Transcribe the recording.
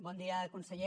bon dia conseller